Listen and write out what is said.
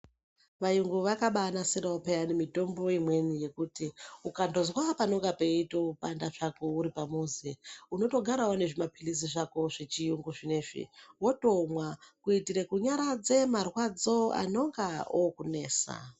Vayungu vakabaa nasirawo pheyani mitombo imweni yekuti ukandozwa panonga peitopanda hako uri pamuzi, unotogara une zvimaphilizi zvako zvechiyungu zvinezvi, wotomwa kuitire kunyaradze marwadzo anonga okunesa.